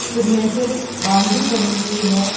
Cemented boundary बनी हुई है।